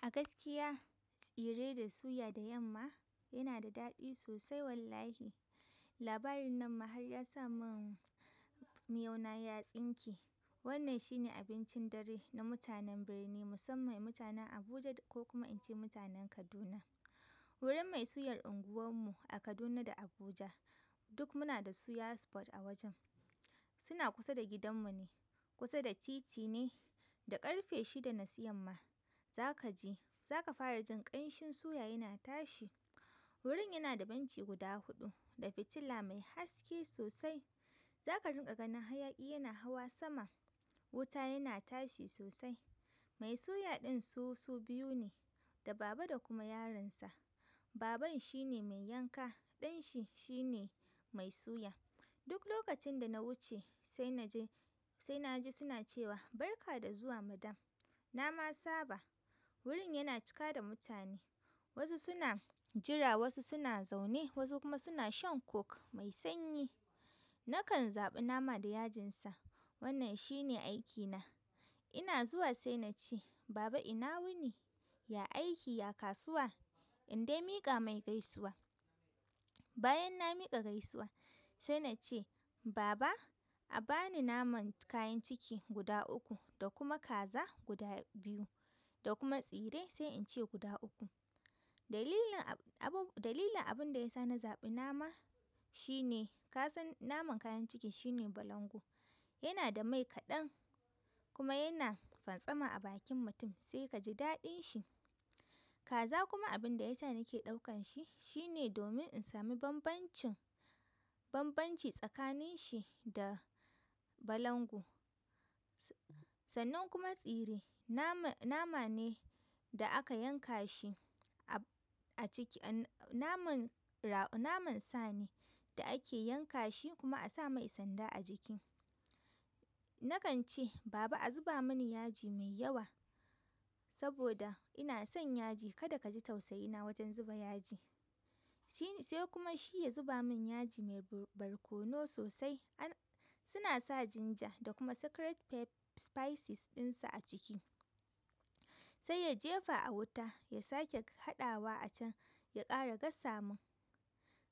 A gaskiya tsire da suya da yamma yana da daɗi sosai wallahi. Labarin nan ma har ya sa mun miyau na ya tsinke. Wannan shine abincin dare na mutanen birni musamman ma mutanen Abuja ko kuma ince mutanen Kaduna. Wurin mai suyar unguwan mu a Kaduna da Abuja duk muna da suya spot a wajen. Suna kusa da gidan mu ne, kusa da titi ne, da ƙarfe shida na su yamma za ka ji, za ka fara jin ƙanshin suya yana tashi. Wurin yana da benci guda huɗu da fitila mai haske sosai. Za ka rinƙa ganin hayaƙi yana hawa sama, wuta yana tashi sosai. Mai suya ɗin su, su biyu ne, da baba da kuma yaronsa. Baban shine mai yanka, ɗan shi shine mai suya. Duk lokacin da na wuce se naji suna cewa barka da zuwa Madam na ma saba, gurin yana cika da mutane, wasu suna jira wasu suna zaune wasu kuma suna shan Coke mai sanyi. Nakan zaɓi nama da yajinsa, wannan shine aikina. Ina zuwa sai na ce "baba ina wuni", ya aiki ya kasuwa in dai miƙa mai gaisuwa. Bayan na miƙa gaisuwa sai na ce "baba a bani naman kayan ciki guda uku da kuma kaza guda biyu da kuma tsire sai in ce guda uku". Dalilin abun, dalilin abin da ya sa na zaɓi nama shine ka san naman kayan cikin shine balangu. Yana da mai kaɗan kuma yana fanstama a bakin mutum sai ka ji daɗin shi. Kaza kuma abin da ya sa nake ɗaukan shi shine domin in sami bambancin, bambanci tsakanin shi da balangu. Sannan kuma tsire, nama, nama ne da aka yanka shi a, a ciki, naman, naman sa ne da ake yanka shi kuma a sa mai sanda a jiki. Nakan ce "baba a zuba mani yaji mai yawa" saboda ina son yaji. Kada ka ji tausayi na wajen zuba yaji. Sai kuma shi ya zuba zuba min yaji mai barkono sosai, har suna sa ginger da kuma secret spices ɗinsa a ciki. Sai ya jefa a wuta, ya sake haɗawa a can, ya ƙara gasa min.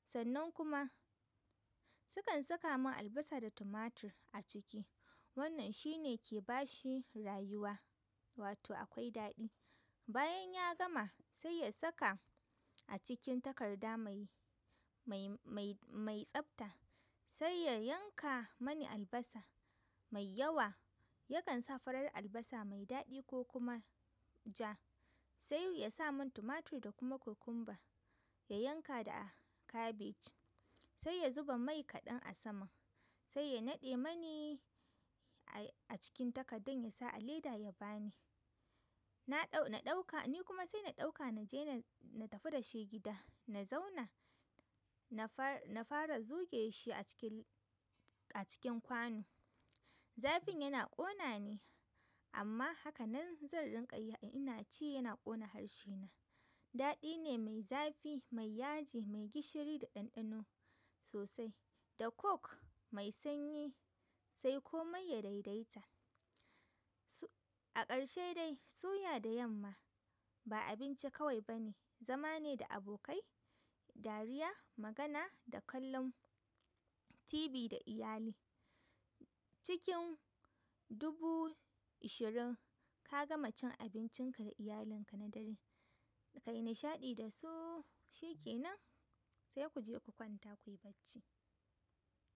Sannan kuma sukan saka man albasa da tumatir a ciki. Wannan shine ke ba shi rayuwa, wato akwai daɗi. Bayan ya gama sai ya saka a cikin takarda mai, mai, mai, mai tsabta. Sai ya yanka mani albasa mai yawa. Yakan sa farar albasa mai daɗi ko kuma ja. Sai ya sa mun tumatir da kuma cucumber. Ya yanka da cabbage. Sai ya zuba mai kaɗan a saman. Sai ya naɗe mani a cikin takardan ya sa a leda ya ba ni. Na ɗau-- na ɗauka, ni kuma sai na ɗauka na je na, na tafi da shi gida. Na zauna, na fara, na fara zuge shi a cikin, a cikin kwanu. Zafin yana ƙona ni amma haka nan zan rinƙa yi. Ina ci yana ƙona harshe na. Daɗi ne mai zafi, mai yaji, mai gishiri da ɗanɗano sosai. Da Voke mai sanyi sai komai ya daidaita. A ƙarshe dai suya da yamma ba abinci kawai ba ne, zama ne da abokai, dariya, magana da kallon TV da iyali. Cikin dubu ishirin ka gama cin abincin ka da iyalinka da nishaɗi shikenan se kuje ku kwanta.